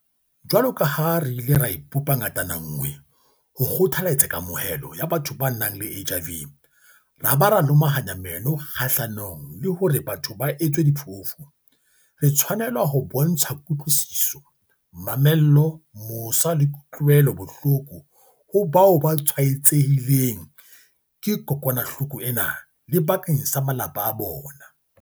Jwaloka ha re ile ra ipopa ngatana nngwe ho kgothaletsa kamohelo ya batho ba nang le HIV ra ba ra lomahanya meno kgahlanong le hore batho ba etswe diphofu, re tshwanela ho bontsha kutlwisiso, mamello, mosa le kutlwelano bohloko ho bao ba tshwaetsehileng ke kokwanahloko ena le bakeng sa malapa a bona.